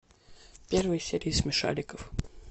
первые серии смешариков